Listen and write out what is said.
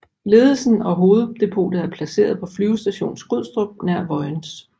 Ledelsen og hoveddepotet er placeret på Flyvestation Skrydstrup nær Vojens